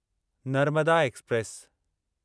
Narmada express